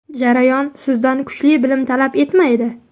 Jarayon sizdan kuchli bilim talab etmaydi.